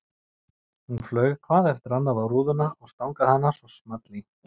Hún flaug hvað eftir annað á rúðuna og stangaði hana svo small í.